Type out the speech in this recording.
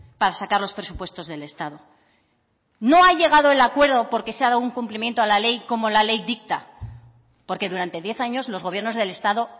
para sacar los presupuestos del estado no ha llegado el acuerdo porque se ha dado un cumplimiento a la ley como la ley dicta porque durante diez años los gobiernos del estado